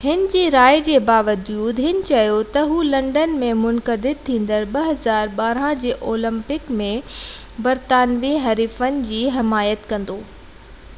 هِن جي راين باوجود هِن چيو ته هُو لنڊن ۾ منعقد ٿيندڙ 2012 جي اولمپڪس ۾ برطانوي حريفن جي حمايت ڪندو